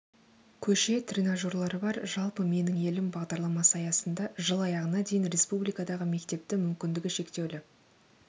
көше тренажерлары бар жалпы менің елім бағдарламасы аясында жыл аяғына дейін республикадағы мектепті мүмкіндігі шектеулі